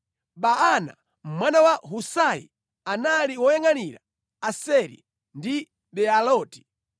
Baana mwana wa Husai, anali woyangʼanira Aseri ndi Bealoti;